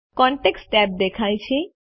contacts tab દેખાય છે